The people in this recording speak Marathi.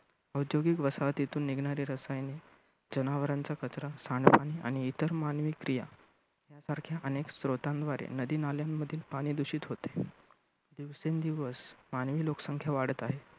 औद्योगिक वसाहतीतून निघणारी रसायने, जनावरांचा कचरा, आणि इतर मानवी क्रिया, यांसारख्या अनेक स्रोतांद्वारे नदी-नाल्यांमधील पाणी दूषित होते. दिवसेंदिवस आणिही लोकसंख्या वाढत आहे.